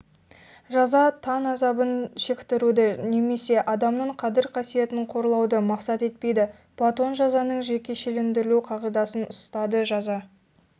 жаза тән азабын шектіруді немесе адамның қадір-касиетін қорлауды мақсат етпейді платон жазаның жекешелендірілу қағидасын ұстады жаза